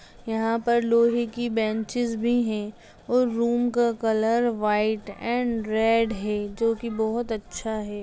यहां पर लोहे की बेंचेज भी है और रूम का कलर व्हाइट एण्ड रेड है जो की बहुत अच्छा है।